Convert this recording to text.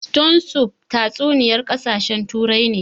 Stone soup tatsuniyar ƙasashen Turai ne